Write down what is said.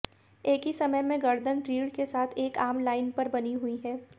एक ही समय में गर्दन रीढ़ के साथ एक आम लाइन पर बनी हुई है